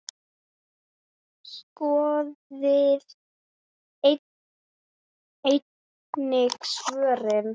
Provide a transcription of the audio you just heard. Skoðið einnig svörin